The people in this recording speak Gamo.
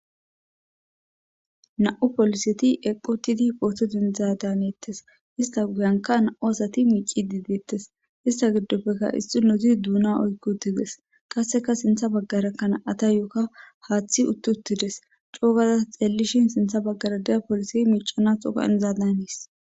Na7u poliseti eqotidi pootod indzadaneettes ista guyanka na7u asati miici didettes ista giddoppekka issi nozi duuna oykki uttides qasseka sintha baggarakkana ata yooka haaththi uttuttides coogaza xeellishin sintha baggara deya poliseti miicanatxoka inzadanis.